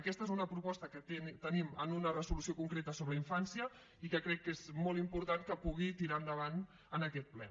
aquesta és una proposta que tenim en una resolució concreta sobre infància i que crec que és molt important que pugui tirar endavant en aquest ple